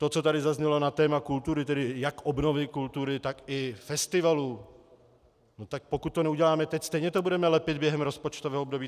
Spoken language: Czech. To, co tady zaznělo na téma kultury, tedy jak obnovy kultury, tak i festivalů, tak pokud to neuděláme teď, stejně to budeme lepit během rozpočtového období.